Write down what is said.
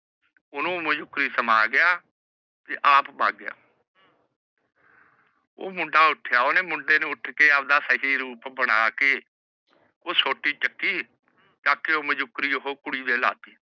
ਓਹਨੂੰ ਮਾਜੂਕਰੀ ਸਮਾਂ ਗਿਆ। ਤੇ ਆਪ ਵੱਗ ਗਿਆ। ਉਹ ਮੁੰਡਾ ਉੱਠਿਆ ਓਹਨੇ ਮੁੰਡੇ ਨੂੰ ਆਪਣਾ ਸਹੀ ਰੂਪ ਬਣਾ ਕੇ ਉਹ ਸੋਟੀ ਚੱਕੀ। ਚੱਕ ਕੇ ਉਹ ਮਜੂਕਰੀ ਕੁੜੀ ਦੇ ਲੈ ਤੀ।